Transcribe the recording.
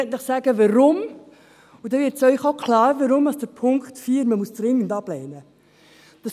Ich möchte Ihnen sagen weshalb, und dann wird Ihnen auch klar, weshalb man Punkt 4 dringend ablehnen muss.